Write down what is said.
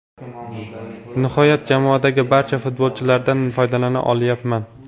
Nihoyat, jamoadagi barcha futbolchilardan foydalana olyapman.